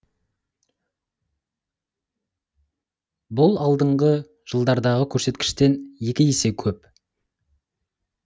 бұл алдыңғы жылдардағы көрсеткіштен екі есе көп